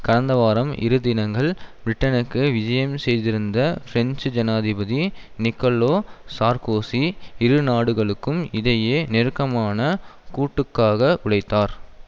கந்த வாரம் இரு தினங்கள் பிரிட்டனுக்கு விஜயம் செய்திருந்த பிரெஞ்சு ஜனாதிபதி நிக்கலோ சார்க்கோசி இரு நாடுகளுக்கும் இடையே நெருக்கமான கூட்டுக்காக உழைத்தார்